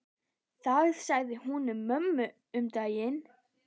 Það sagði hún við mömmu um daginn.